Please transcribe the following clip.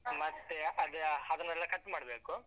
ಮತ್ತೆ. ಅದ್ ಅದನ್ನೆಲ್ಲಾ cut ಮಾಡ್ಬೇಕು.